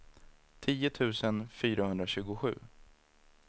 tio tusen fyrahundratjugosju